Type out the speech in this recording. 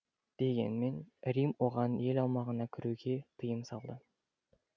дегенмен рим оған ел аумағына кіруге тыйым салды